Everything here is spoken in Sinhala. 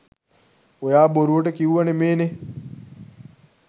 ඔයා බොරුවට කිව්ව නෙමේනේ